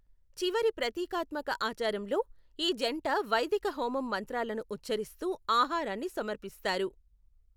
చివరి ప్రతీకాత్మక ఆచారంలో, ఈ జంట వైదిక హోమం మంత్రాలను ఉఛ్చరిస్తూ ఆహారాన్ని సమర్పిస్తారు.